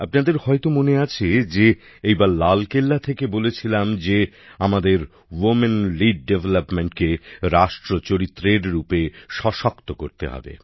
আপনাদের হয়তো মনে আছে যে এইবার লালকেল্লা থেকে বলেছিলাম যে আমাদের মহিলাদের নেতৃত্বে উন্নয়নকে রাষ্ট্র চরিত্র হিসেবে প্রতিষ্ঠিত করতে হবে